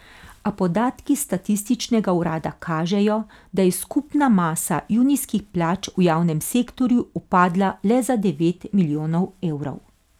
A podatki statističnega urada kažejo, da je skupna masa junijskih plač v javnem sektorju upadla le za devet milijonov evrov.